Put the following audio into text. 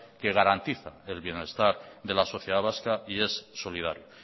que garantiza el bienestar de la sociedad vasca y es solidario